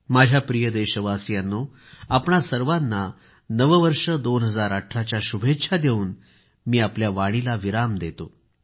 माझ्या प्रिय देशवासियांनो आपणा सर्वांना नववर्ष 2018च्या शुभेच्छा देवून मी आपल्या वाणीला विराम देतो